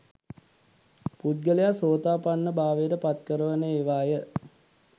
පුද්ගලයා සෝතාපන්න භාවයට පත්කරවන ඒවා ය.